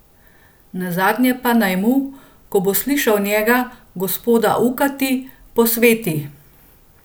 Nazadnje pa naj mu, ko bo slišal njega, gospoda, ukati, posveti.